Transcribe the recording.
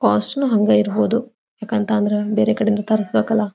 Cost ನು ಹಂಗೆ ಇರಬಹುದು ಯಾಕತಅಂದ್ರೆ ಬೇರೆ ಕಡೆ ತರಸಬೇಕಲ್ಲಾ.